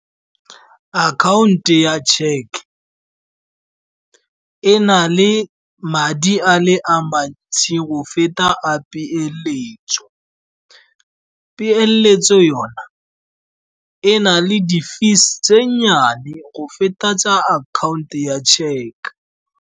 Akhaonto ya check e na le madi a mantsi go feta a peeletso, peeletso yona e na le di-fees tse nnyane go feta tsa akhaonto ya check.